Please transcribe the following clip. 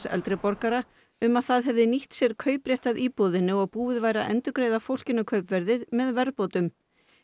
eldri borgara um að það hefði nýtt sér kauprétt að íbúðinni og búið væri að endurgreiða fólkinu kaupverðið með verðbótum